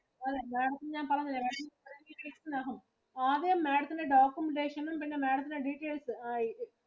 അതെ Madam ത്തിന് ഞാൻ പറഞ്ഞില്ലേ thirty days ഇനകം. ആകെ Madam ത്തിന് documentation ഉം പിന്നെ Madam ത്തിനു details അയക്കും.